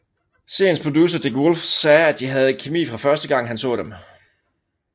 Seriens producer Dick Wolf sagde at de havde kemi fra første gang han så dem